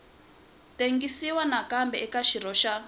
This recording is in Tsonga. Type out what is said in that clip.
tengisiwa nakambe eka xirho xa